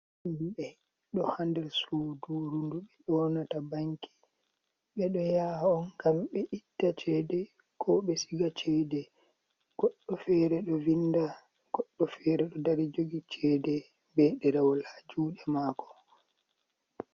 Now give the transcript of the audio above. Himɓɓe ɗo hander nder sudurundu ɓe yonata banki ɓe ɗo yaha on gam ɓe itta cede ko ɓe siga cede goɗɗo fere ɗo vinda, goɗɗo o fere ɗo dari jogi cede be ɗe rawol ha juɗe e mako.